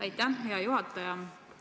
Aitäh, hea juhataja!